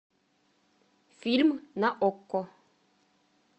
фильм на окко